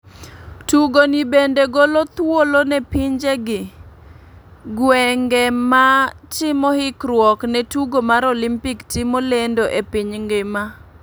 Tugo ni bende golo thuolo ne pinje gi gwenge ma timo hikruok ne tugo mar Olimpik timo lendo e piny ngima